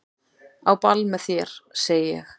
Á ball með þér segi ég.